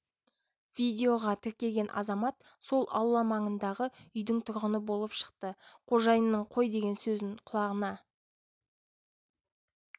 видеоға тіркеген азамат сол аула маңындағы үйдің тұрғыны болып шықты қожайынның қой деген сөзін құлағына